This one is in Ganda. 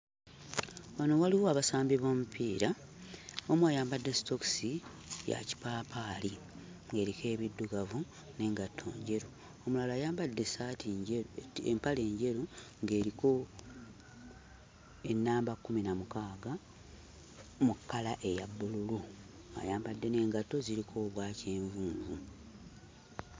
Wano waliwo abasambi b'omupiira; omu ayambadde sitookisi ya kipaapaali ng'eriko ebiddugavu n'engatto njeru, omulala ayambadde essaatu njeru empale njeru ng'eriko ennamba 16 mu kkala eya bbululu, ayambadde n'engatto ziriko obwa kyenvunvu.